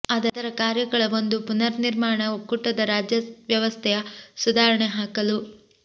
ಅದರ ಕಾರ್ಯಗಳ ಒಂದು ಪುನರ್ನಿಮಾಣ ಒಕ್ಕೂಟದ ರಾಜ್ಯ ವ್ಯವಸ್ಥೆಯ ಸುಧಾರಣೆ ಹಾಕಲು